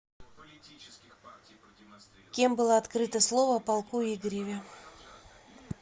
кем было открыто слово о полку игореве